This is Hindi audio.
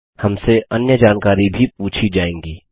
हमसे अन्य जानकारी भी पूछी जाएँगी